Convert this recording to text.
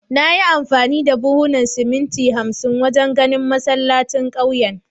Na yi amfani da buhunan siminti hamsin wajen ginin masallacin kauyen